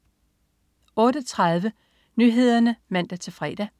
08.30 Nyhederne (man-fre)